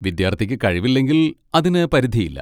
വിദ്യാർത്ഥിക്ക് കഴിവില്ലെങ്കിൽ അതിന് പരിധിയില്ല.